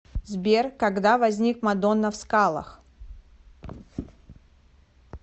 сбер когда возник мадонна в скалах